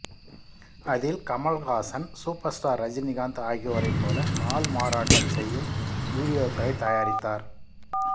அதில் Kamal Haasan super star Rajinikanth ஆகியோரைப் போல ஆள்மாறாட்டம் செய்யும் வீடியோக்களைத் தயாரித்தார்